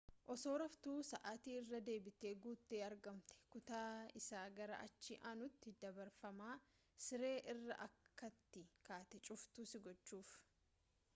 osoo raftuu sa’ati irra deebite guutte argamte, kutaa isa gara achi aanutti dabarfama siree irraa akkati kaatee cuftu si gochuuf